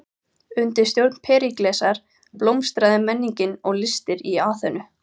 Undir stjórn Períklesar blómstraði menningin og listir í Aþenu.